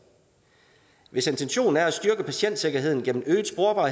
hvis intentionen er at styrke patientsikkerheden gennem